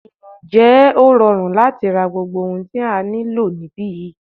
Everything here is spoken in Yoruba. Ǹjẹ́ ó rọrùn láti ra gbogbo ohun tí a nílò níbí yìí?